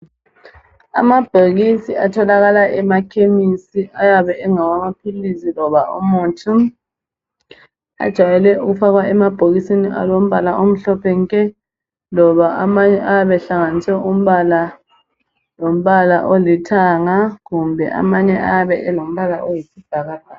Amabhokisi atholakala emakhemesi ayabe engawamaphilisi loba umuthi. Ajayelwe ukufakwa emabhokisini alompala omhlophe nke loba amanye ayabe ehlanganise umpala lompala olithanga kumbe amanye ayabe elompala oyisibhakabhaka